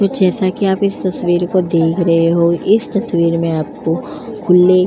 कुछ ऐसा की आप इस तस्वीर को देख रहे हो। इस तस्वीर में आपको खुले --